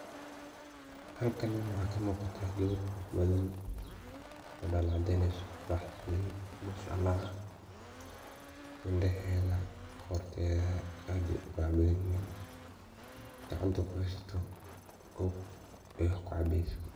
halkan waxaa kamuuqata gabar dholal cadeyneyso quraxsan masha Allah ah indhaheda qorteeda aad ayay uqurax badan yihin gacanta kuhaysato kob ay wax kucabeyso